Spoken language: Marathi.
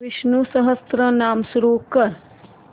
विष्णु सहस्त्रनाम सुरू कर